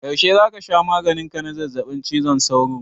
Yaushe za ka sha maganin ka na zazzaɓin cizon sauro?